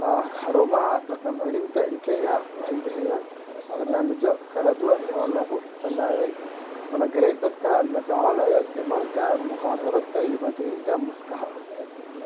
Haa Xarumaha dhaqan-celinta ee Kenya waxay bixiyaan barnaamijyo kala duwan sida daaweyn, la-talin, iyo dib-u-dhexgal bulsho oo loogu talagalay dadka la tacaalaya mukhaadaraadka iyo dhibaatooyinka la xiriira.